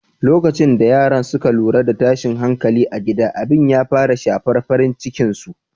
Lokacin da yaran suka lura da tashin hankali a gida, abin ya fara shafar farin cikin su.